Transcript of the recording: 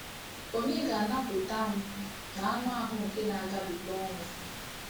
Ònye ga-anapụta m n’anụahụ nke na-agabiga ọnwụ a?